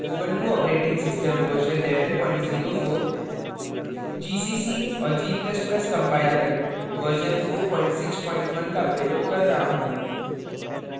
ubuntu operating system version 1104 gcc और g ++ compiler version 461 का प्रयोग कर रहा हूँ